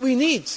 We